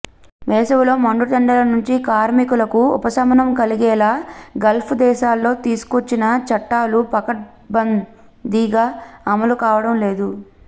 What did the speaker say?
వేసవిలో మండుటెండల నుంచి కార్మికులకు ఉపశమనం కలిగేలా గల్ఫ్ దేశాల్లో తీసుకొచ్చిన చట్టాలు పకడ్బం దీగా అమలు కావడం లేదు